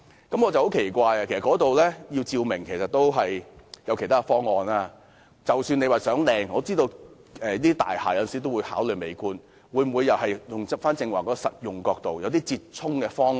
我感到很奇怪，因為那裏總有其他方法照明，即使是為了漂亮——我知道這類大廈有時要考慮美觀——但可否從實用角度出發，想出折衷方案？